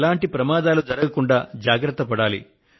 ఎటువంటి ప్రమాదాలు జరగకుండా జాగ్రత్తలు తీసుకోండి